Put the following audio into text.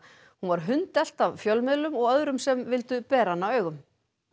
hún var hundelt af fjölmiðlum og öðrum sem vildu bera hana augum